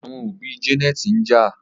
Àwọn òbí Janet njà